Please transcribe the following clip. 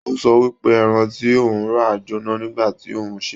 O sọ wípé ẹran ti òun rà j'óná nígbà tí òun n ṣe.